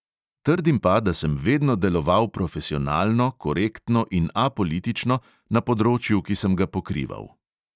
Trdim pa, da sem vedno deloval profesionalno, korektno in apolitično na področju, ki sem ga pokrival.